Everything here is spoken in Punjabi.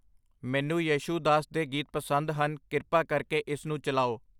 ਮੈਨੂੰ ਯੇਸ਼ੂਦਾਸ ਦੇ ਗੀਤ ਪਸੰਦ ਹਨ ਕਿਰਪਾ ਕਰਕੇ ਇਸਨੂੰ ਚਲਾਓ।